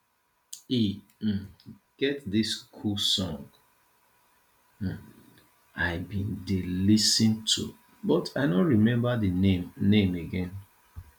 e um get dis cool song um i bin dey lis ten to but i no remember the name name again